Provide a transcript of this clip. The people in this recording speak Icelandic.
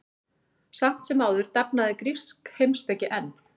Samt sem áður dafnaði grísk heimspeki enn.